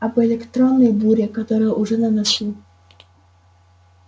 об электронной буре которая уже на носу